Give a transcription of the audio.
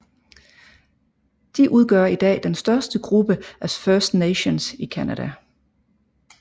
De udgør i dag den største gruppe af First Nations i Canada